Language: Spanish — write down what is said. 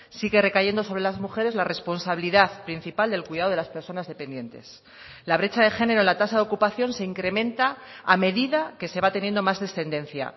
sigue recayendo sobre las mujeres la responsabilidad principal del cuidado de las personas dependientes la brecha de género la tasa de ocupación se incrementa a medida que se va teniendo más descendencia